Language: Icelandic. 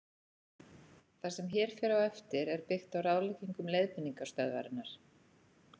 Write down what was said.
Það sem hér fer á eftir er byggt á ráðleggingum Leiðbeiningastöðvarinnar.